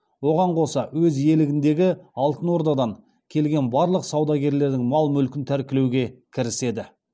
оған қоса өз иелігіндегі алтын ордадан келген барлық саудагерлердің мал мүлкін тәркілеуге кіріседі